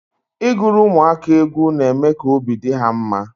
Ị gụrụ ụmụaka egwu na eme ka obi dị ha mma.